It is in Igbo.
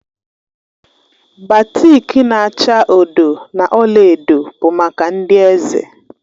Batik na-acha odo na ọla edo bụ maka ndị eze.